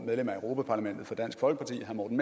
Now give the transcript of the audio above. medlem af europa parlamentet for dansk folkeparti herre morten